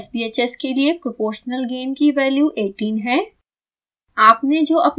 यहाँ मेरे sbhs के लिए proportional gain की वैल्यू 18 है